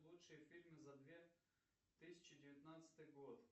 лучшие фильмы за две тысячи девятнадцатый год